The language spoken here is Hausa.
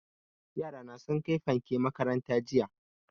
Yara na sun kai fanke makaranta jiya